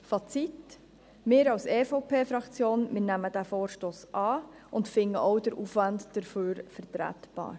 Fazit: Wir als EVP-Fraktion nehmen diesen Vorstoss an und finden auch den Aufwand dafür vertretbar.